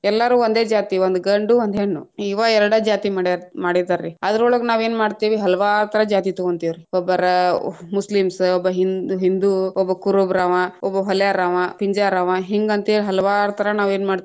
ಎಲ್ಲಾರು ಒಂದೆ ಜಾತಿ ಒಂದ ಗಂಡು ಒಂದ ಹೆಣ್ಣು, ಇವ್‌ ಎರಡ್‌ ಜಾತಿ ಮಡ್ಯಾರ್ರ ಮಾಡಿದ್ದಾರ್ರೀ, ಅದರೊಳಗ ನಾವೇನ ಮಾಡ್ತೀವಿ ಹಲವಾರು ತರಾ ಜಾತಿ ತಗೊಂತಿವ್ರೀ, ಒಬ್ಬರ ಮುಸ್ಲಿಮ್ಸ, ಒಬ್ಬ ಹಿಂ~ ಹಿಂದು ಒಬ್ಬ ಕುರುಬ್ರವಾ ಒಬ್ಬ ಹೊಲ್ಯಾರವಾ ಪಿಂಜ್ಯಾರವಾ ಹಿಂಗಂತ‌ ಹೇಳಿ ಹಲವಾರ ತರಾ ನಾವೇನ್ ಮಾಡ್ತೇವಿ.